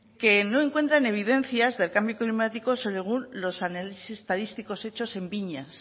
que no encuentran evidencias del cambio climático según los análisis estadísticos hechos en viñas